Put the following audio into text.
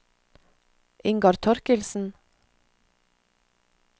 Ingar Thorkildsen